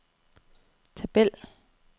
tabel